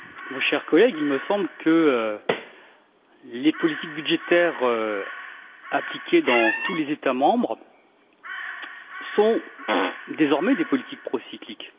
Mon cher collègue, il me semble que les politiques budgétaires appliquées dans tous les États membres sont désormais des politiques procycliques.